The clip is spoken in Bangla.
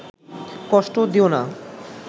কষ্ট দিয়ো না